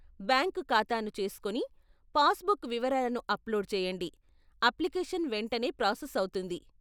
Bank ఖాతాను చేసుకొని, passbook వివరాలను అప్లోడ్ చేయండి, అప్లికేషన్ వెంటనే ప్రాసెస్ అవుతుంది.